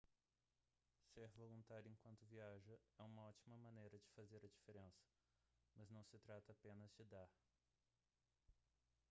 ser voluntário enquanto viaja é uma ótima maneira de fazer a diferença mas não se trata apenas de dar